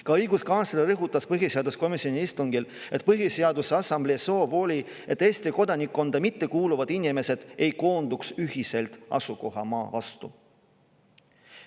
Ka õiguskantsler rõhutas põhiseaduskomisjoni istungil, et Põhiseaduse Assamblee soov oli, et Eesti kodanikkonda mitte kuuluvad inimesed ei koonduks ühiselt asukohamaa vastu.